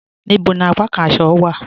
Níbò ni àpàkàn àṣọ̀ wa?